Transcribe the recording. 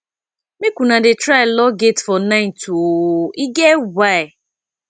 make una dey try lock gate for night o e get why